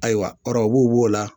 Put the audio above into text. Ayiwa ɔrɔbu b'o la